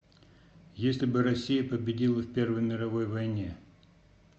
если бы россия победила в первой мировой войне